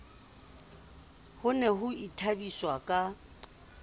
ho ne ho ithabiswa ka